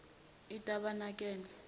itabanakele